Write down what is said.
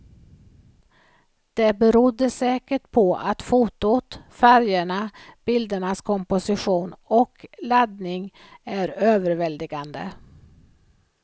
Det berodde säkert på att fotot, färgerna, bildernas komposition och laddning är överväldigande.